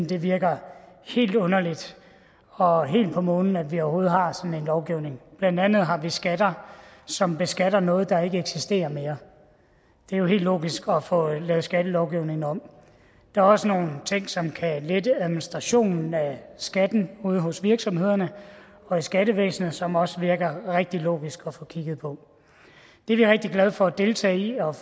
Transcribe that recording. det virker helt underligt og helt på månen at vi overhovedet har sådan en lovgivning blandt andet har vi skatter som beskatter noget der ikke eksisterer mere det er jo helt logisk at få lavet skattelovgivningen om der er også nogle ting som kan lette administrationen af skatten ude hos virksomhederne og i skattevæsenet som også virker rigtig logiske at få kigget på det er vi rigtig glade for at deltage i og